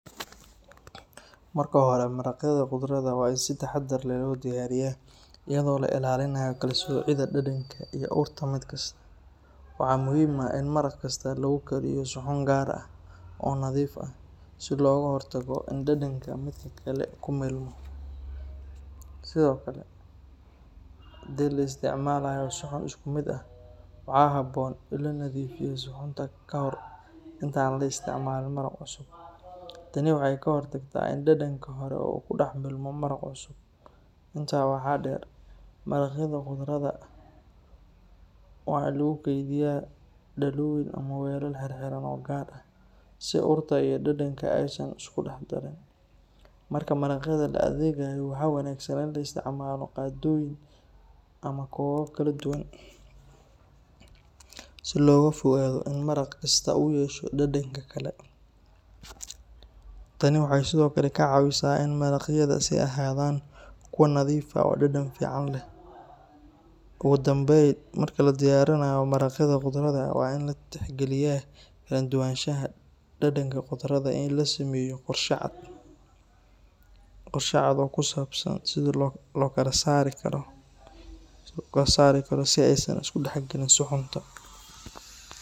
Marka hore, maraqyada khudradda waa in si taxadar leh loo diyaariyaa, iyadoo la ilaalinayo kala soocidda dhadhanka iyo urta mid kasta. Waxaa muhiim ah in maraq kasta lagu kariyo suxuun gaar ah oo nadiif ah, si looga hortago in dhadhanka midka kale ku milmo. Sidoo kale, haddii la isticmaalayo suxuun isku mid ah, waxaa habboon in la nadiifiyo suxuunta ka hor inta aan la isticmaalin maraq cusub. Tani waxay ka hortagtaa in dhadhanka hore uu ku dhex milmo maraq cusub. Intaa waxaa dheer, maraqyada khudradda ah waa in lagu keydiyaa dhalooyin ama weelal xirxiran oo gaar ah, si urta iyo dhadhanka aysan u isku dhex darin. Marka maraqyada la adeegayo, waxaa wanaagsan in la isticmaalo qaadooyin ama koobab kala duwan, si looga fogaado in maraq kasta uu yeesho dhadhanka kale. Tani waxay sidoo kale ka caawisaa inay maraqyada sii ahaadaan kuwo nadiif ah oo dhadhan fiican leh. Ugu dambeyn, marka la diyaarinayo maraqyada khudradda ah, waa in la tixgeliyaa kala duwanaanshaha dhadhanka khudradda iyo in la sameeyo qorshe cad oo ku saabsan sida loo kala saari karo si aysan u is dhex gelin suxuunta.